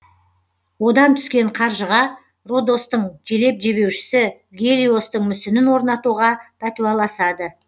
одан түскен қаржыға родостың желеп жебеушісі гелиостың мүсінін орнатуға пәтуаласады